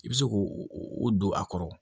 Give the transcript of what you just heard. I bɛ se k'o don a kɔrɔ